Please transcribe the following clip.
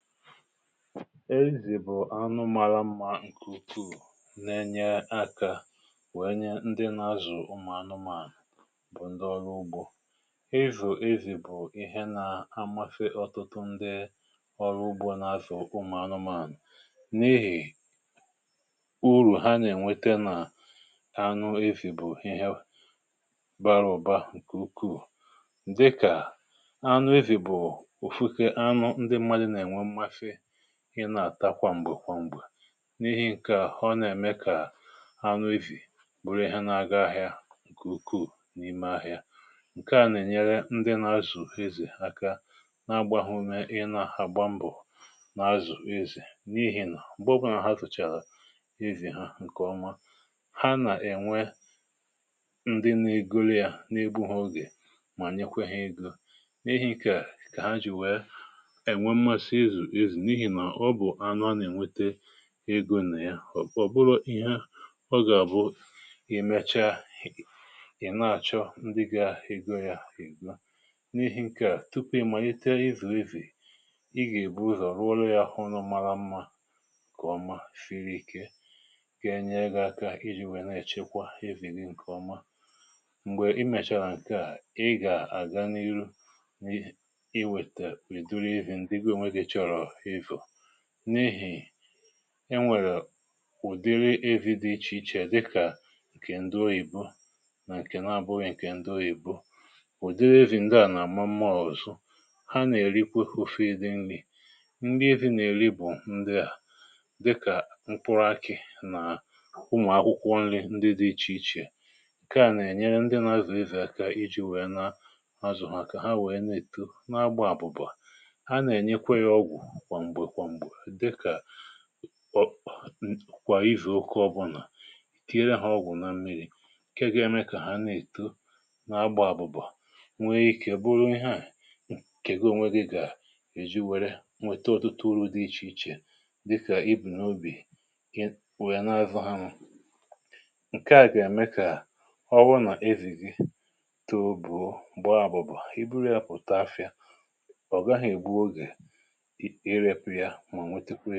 Ezì bụ̀ anụ màla mmà ǹkè ukwuu, na-enye aka, wèe nye ndị na-azụ̀ ụmụ̀ anụmȧnụ̇, bụ̀ ndị ọrụ ugbȯ. Izù e zì bụ̀ ihe nà-amafè ọtụtụ ndị ọrụ ugbȯ na-azụ̀ ụmụ̀ anụmȧnụ̇, n’ihì urù ha nà-ènwete nà anụ e zì bụ̀ ihe bara ụ̀ba ǹkè ukwuu. Ǹdịkà, anụ e zì bụ̀ ofu anu ndi mmadụ̀ na enwe mmasi, ị na-àta kwa m̀gbè kwà m̀gbè; n’ihi ǹkè a, ọ nà-ème kà anụ e zì bụrụ ihe na-aga ahịa ǹkè ukwuù n’ime ahịa. Nkè à nà-ènyere ndị nà-azụ̀ e zì aka na-agbaghụ mee, ị na-agba mbọ̀ nà-azụ̀ e zì, n’ihì nà m̀gbèkwà nà ha tùchàrà e zì ha ǹkè ọma, ha nà-ènwe ndị n’iguru yȧ, n’ebu ha ogè, mà nyekwe ha ego. N’ihì nke a, kà ha jì wee enwe mmasị izù e zi, n'ihi ọ bụ̀ anụ̇ a na-ènwete egȯ na ya; ọ bụrụ ihe ọ gà-àbụ, i mecha, i na-àchọ ndị ga ego ya ego. N’ihì̇ ǹkè à, tupu ị màlite izù e zì, i gà-èbu ụzọ̀ rụọ le ya ulo mara mmȧ nke ọma, fere ike, ga-enye ga-aka iji̇ nwèe na-èchekwa e zì gị ǹkè ọma. M̀gbè i mèchàrà ǹkè à, i gà-àga n’ihu, i wète ìdiri e zì ndị gi onwe gị chọrọ izu; n’ihì enwèrè ụ̀dịrị e zì dị iche iche, dịkà ǹkè ndị oyìbo nà ǹkè na abụọ ị̀kè ndị oyìbo. Ụ̀dịrị e zì ndewȧ nà-àmụmmo ọzụzu. Ha nà-èrikwe hụfe dị nri̇. Nrị e zì nà-èrikwe bụ̀ ndịà, dịkà mkpụrụ akị̇ nà ụmụ̀ akwụkwọ nri ndị dị iche iche. Ǹkè à nà-ènyere ndị na-azụ̀ e zì aka iji̇ wee nà ha zụ̀rụ̀ ha, kà ha wee na-èto n’agba àbụ̀bụ̀. Haa na enye-kwa ya ọgwụ kwa mgbe kwa mgbe, dịka kwà izu ụka ọbụlà; tiere hȧ ọgwụ̀ na mmiri̇, ǹkè ga-eme kà ha na-èto, na-agbà àbụ̀bụ̀, nwee ikė, bụrụ ihe à nke gi onwe gị gà-èji wère, nwete ọtụtụ urù̇ dị iche iche. Dịkà ibù n’obì, nwe na-azụ̇ anụ. Ǹkè à gà-ème kà, ọwụ nà e zì gì too, bùo, gbaa a bụ̀ba. I bụrụ yȧ pụ̀ta afịa, ọ̀ gaghị egbu oge ire pu ya, mànwetekwi i.